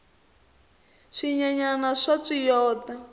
swinyenyani swa tswiyota